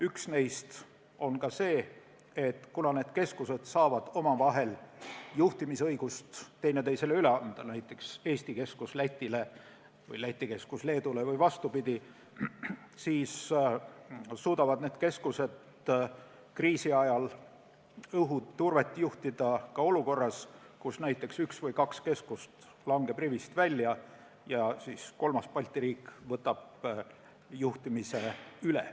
Üks eelis on see, et kuna need keskused saavad juhtimisõigust üksteisele üle anda, näiteks Eesti keskus Lätile või Läti keskus Leedule või vastupidi, siis suudavad keskused kriisi ajal õhuturvet juhtida ka olukorras, kus näiteks üks või kaks keskust langeb rivist välja ja kolmas Balti riik võtab juhtimise üle.